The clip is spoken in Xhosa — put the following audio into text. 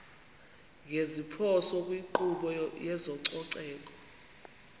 ngeziphoso kwinkqubo yezococeko